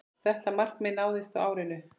Þetta markmið náðist á árinu.